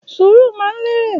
Ṣúrù mà ń lẹrẹ